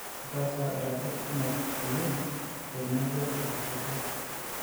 Ataasa iratiot kumok oleng' tenebo o kapaito.